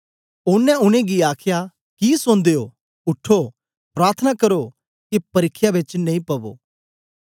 ओनें उनेंगी आखया कि सौंदे ओ उठो प्रार्थना करो के परिख्या च नेई पवो